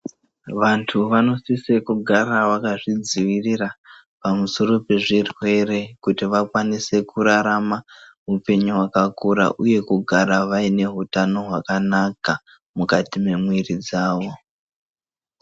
Vantu vanosisa kugara vakazvidzivirira pamusoro pezvirwere kuti vakwanise kurarama hupenyu kwakakura uye kugara vane hutano hwakanaka mukati memwiri dzawo.